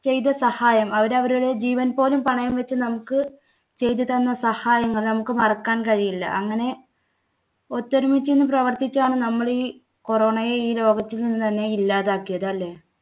ചെയ്ത സഹായം അവരവരുടെ ജീവൻ പോലും പണയം വെച്ച് നമുക്ക് ചെയ്തു തന്ന സഹായങ്ങൾ നമുക്ക് മറക്കാൻ കഴിയില്ല. അങ്ങനെ ഒത്തൊരുമിച്ചു നിന്ന് പ്രവർത്തിച്ചാണ് നമ്മൾ ഈ corona യെ ഈ ലോകത്തുനിന്ന് തന്നെ ഇല്ലാതാക്കിയത് അല്ലേ?